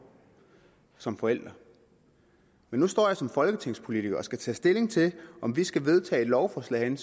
som forælder men nu står jeg som folketingspolitiker og skal tage stilling til om vi skal vedtage et lovforslag